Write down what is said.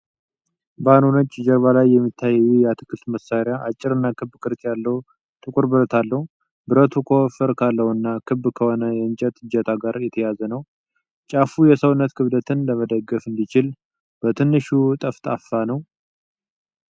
ባዶ ነጭ ጀርባ ላይ የሚታየው ይህ የአትክልት መሳሪያ አጭርና ክብ ቅርጽ ያለው ጥቁር ብረት አለው። ብረቱ ከወፈር ካለውና ክብ ከሆነ የእንጨት እጀታ ጋር የተያያዘ ነው። ጫፉ የሰውነት ክብደትን ለመደገፍ እንዲችል በትንሹ ጠፍጣፋ ነው።